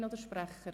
– Einzelsprecher?